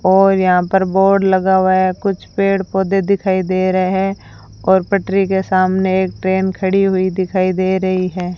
और यहां पर बोर्ड लगा हुआ है कुछ पेड़ पौधे दिखाई दे रहे हैं और पटरी के सामने एक ट्रेन खड़ी हुई दिखाई दे रही है।